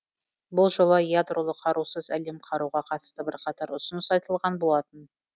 бұл жолы ядролық қарусыз әлем құруға қатысты бірқатар ұсыныс айтылған болатын